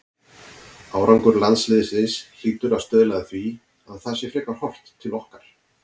Árangur landsliðsins hlýtur að stuðla að því að það sé frekar horft til okkar.